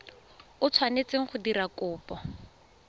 o tshwanetseng go dira kopo